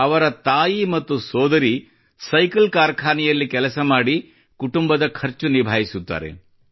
ಅವರ ತಾಯಿ ಮತ್ತು ಸೋದರಿ ಸೈಕಲ್ ಕಾರ್ಖಾನೆಯಲ್ಲಿ ಕೆಲಸ ಮಾಡಿ ಕುಟುಂಬದ ಖರ್ಚು ನಿಭಾಯಿಸುತ್ತಾರೆ